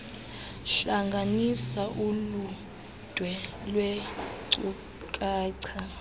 hlanganisa uludwe lwenkcukacha